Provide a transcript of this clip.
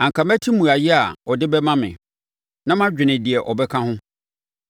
Anka mɛte mmuaeɛ a ɔde bɛma me, na madwene deɛ ɔbɛka ho.